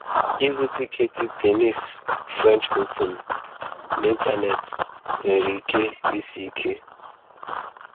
Ịzụ Tiketi Tennis French Open n’ịntanetị nwere ike isi ike.